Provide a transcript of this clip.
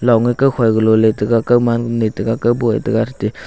kawfa galo letaiga kawma netega kawboh e tega athete--